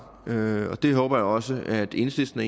og det håber jeg også at enhedslisten